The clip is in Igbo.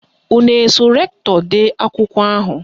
Unu eso rektọ dee akwụkwọ ahụ?